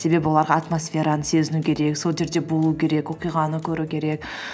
себебі оларға атмосфераны сезіну керек сол жерде болу керек оқиғаны көру керек